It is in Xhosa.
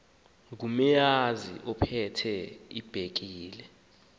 ngumeazi ophethe ibhekile